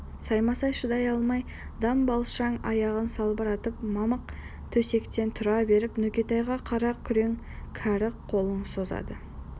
саймасай шыдай алмай дамбалшаң аяғын салбыратып мамық төсектен тұра беріп нүкетайға қара күрең кәрі қолын созады